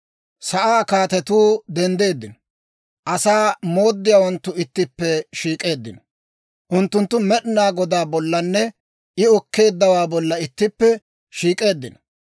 Sa'aa kaatetuu denddeeddino; asaa mooddiyaawanttu ittippe shiik'eeddino. Unttunttu Med'inaa Godaa bollanne I okkeeddawaa bolla ittippe shiik'eeddino.